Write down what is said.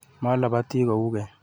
Malabati ku keny.